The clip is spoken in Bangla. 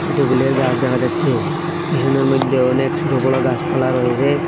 একটি ফুলের গাছ দেখা যাচ্ছে পিসনের মইদ্যে অনেক সোট বড় গাসপালা রয়েজে।